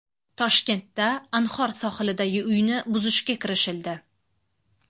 Toshkentda Anhor sohilidagi uyni buzishga kirishildi.